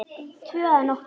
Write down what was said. Tvö að nóttu